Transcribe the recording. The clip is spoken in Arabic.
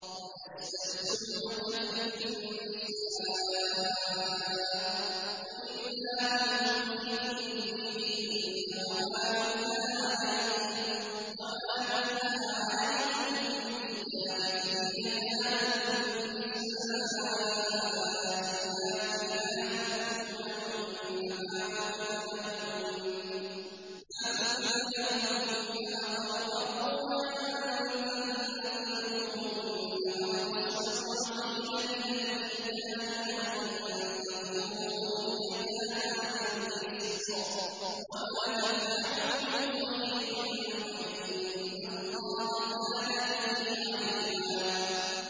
وَيَسْتَفْتُونَكَ فِي النِّسَاءِ ۖ قُلِ اللَّهُ يُفْتِيكُمْ فِيهِنَّ وَمَا يُتْلَىٰ عَلَيْكُمْ فِي الْكِتَابِ فِي يَتَامَى النِّسَاءِ اللَّاتِي لَا تُؤْتُونَهُنَّ مَا كُتِبَ لَهُنَّ وَتَرْغَبُونَ أَن تَنكِحُوهُنَّ وَالْمُسْتَضْعَفِينَ مِنَ الْوِلْدَانِ وَأَن تَقُومُوا لِلْيَتَامَىٰ بِالْقِسْطِ ۚ وَمَا تَفْعَلُوا مِنْ خَيْرٍ فَإِنَّ اللَّهَ كَانَ بِهِ عَلِيمًا